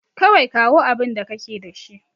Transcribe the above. Kawai kawo abinda kake da shi.